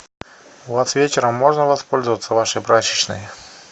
у вас вечером можно воспользоваться вашей прачечной